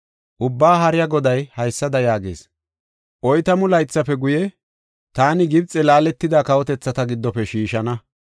Ubbaa Haariya Goday haysada yaagees: “Oytamu laythafe guye, taani Gibxey laaletida kawotethata giddofe shiishana.